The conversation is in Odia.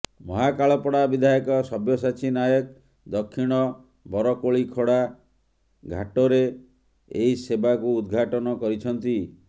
ମହାକାଳପଡା ବିଧାୟକ ସବ୍ୟସାଚୀ ନାୟକ ଦକ୍ଷିଣ ବରକୋଳିଖଳା ଘାଟରେ ଏହି ସେବାକୁ ଉଦଘାଟନ୍ କରିଛନ୍ତି